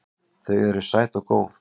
Þau eru sæt og góð.